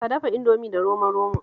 Ka dafa Indomin da romo-romo